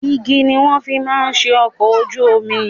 Igi ni wọ́n fi máa ń ṣe ọkọ̀ ojú omi.